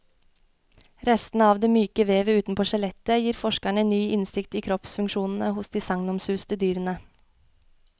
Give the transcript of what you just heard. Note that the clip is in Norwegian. Restene av det myke vevet utenpå skjelettet gir forskerne ny innsikt i kroppsfunksjonene hos de sagnomsuste dyrene.